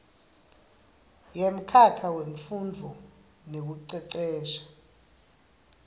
yemkhakha wemfundvo nekucecesha